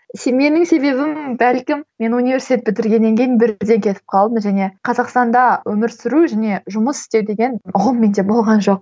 менің себебім бәлкім мен университет бітіргеннен кейін бірден кетіп қалдым және қазақстанда өмір сүру және жұмыс істеу деген ұғым менде болған жоқ